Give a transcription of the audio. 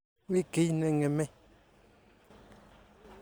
Mi kiy ne ng'emei.